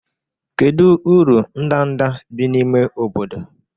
Kedu uru ndanda bi n'ime obodo?